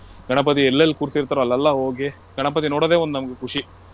ಗಣಪತಿ ಎಲ್ಲೆಲ್ಲಾ ಕೂರ್ಸಿತ್ತಾರೋ ಅಲ್ಲೆಲ್ಲಾ ಹೋಗಿ ಗಣಪತಿ ನೋಡೋದೆ ಒಂದು ನಮ್ಗೆ ಖುಷಿ.